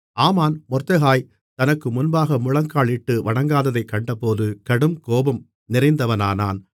ஆமான் மொர்தெகாய் தனக்கு முன்பாக முழங்காலிட்டு வணங்காததைக் கண்டபோது கடுங்கோபம் நிறைந்தவனானான்